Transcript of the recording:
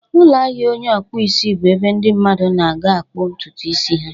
Ụlọ ahịa onye ọkpụ isi bụ ebe ndị mmadụ na-aga akpụ ntutu isi ha.